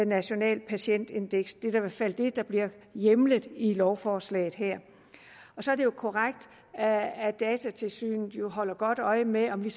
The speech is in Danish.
nationalt patientindeks det er i hvert fald det der bliver hjemlet i lovforslaget her så er det jo korrekt at at datatilsynet holder godt øje med om vi